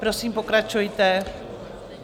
Prosím, pokračujte.